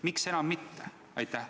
Miks enam mitte?